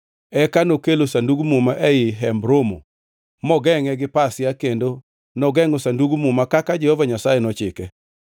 Eka nokelo Sandug Muma ei Hemb Romo mogengʼe gi pasia kendo nogengʼo Sandug Muma kaka Jehova Nyasaye nochike.